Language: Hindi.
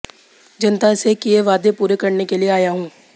जनता से किए वादे पूरे करने के लिए आया हूं